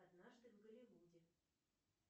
однажды в голливуде